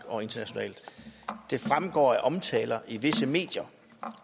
og internationalt det fremgår af omtaler i visse medier